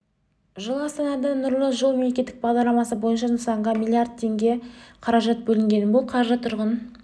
жылы астанада нұрлы жол мемлекеттік бағдарламасы бойынша нысанға млрд млн теңге қаражат бөлінген бұл қаржы тұрғын